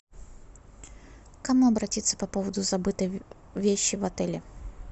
к кому обратиться по поводу забытой вещи в отеле